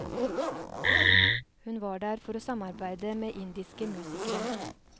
Hun var der for å samarbeide med indiske musikere.